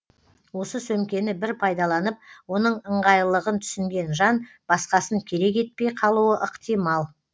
осы сөмкені бір пайдаланып оның ыңғайлылығын түсінген жан басқасын керек етпей қалуы ықтимал